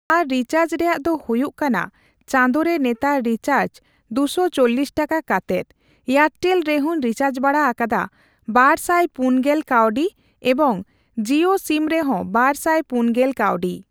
ᱟᱨ recharge ᱨᱮᱭᱟᱜ ᱫᱚ ᱦᱩᱭᱩᱜ ᱠᱟᱱᱟ ᱪᱟᱸᱫᱚ ᱨᱮ ᱱᱮᱛᱟᱨ ᱨᱤᱪᱟᱨᱡ ᱫᱩ ᱥᱚ ᱪᱚᱞᱞᱤᱥ ᱴᱟᱠᱟ ᱠᱟᱛᱮᱫ᱾ ᱮᱭᱟᱨᱴᱮᱞ ᱨᱮᱦᱳᱧ ᱨᱤᱪᱟᱨᱡ ᱵᱟᱲᱟ ᱟᱠᱟᱫᱟ ᱵᱟᱨᱥᱟᱭ ᱯᱩᱱᱜᱮᱞ ᱠᱟᱣᱰᱤ ᱮᱵᱚᱝ ᱡᱤᱭᱳ ᱥᱤᱢ ᱨᱮᱦᱚᱸ ᱵᱟᱨ ᱥᱟᱭ ᱯᱩᱱᱜᱮᱞ ᱠᱟᱣᱰᱤ ᱾